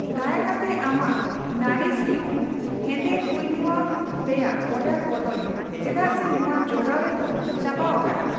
ᱫᱟᱭᱟ ᱠᱟᱛᱮ ᱟᱢᱟᱜ ᱱᱟᱣᱨᱤᱥ ᱤᱭᱩ ᱦᱮᱸᱫᱮ ᱠᱩᱭᱱᱳᱭᱟ ᱨᱮᱭᱟᱜ ᱚᱨᱰᱟᱨ ᱵᱚᱫᱚᱞ ᱢᱮ ᱪᱮᱫᱟᱜ ᱥᱮ ᱱᱚᱣᱟ ᱡᱚᱜᱟᱣᱨᱮ ᱫᱚ ᱪᱟᱵᱟᱣᱟᱠᱟᱱᱟ ᱾